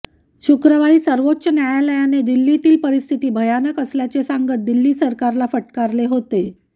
शुक्रवारी सर्वोच्च न्यायालयाने दिल्लीतील परिस्थिती भयानक असल्याचे सांगत दिल्ली सरकारला फटकारले होते